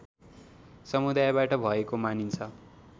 समुदायबाट भएको मानिन्छ